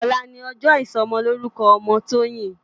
Òlá ni òjò isòmòlórúkò òmò Toyin